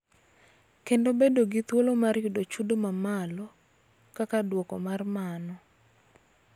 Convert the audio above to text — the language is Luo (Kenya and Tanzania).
Kendo bedo gi thuolo mar yudo chudo ma malo; kaka duoko mar mano,